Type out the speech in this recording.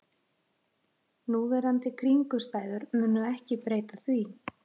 Núverandi kringumstæður munu ekki breyta því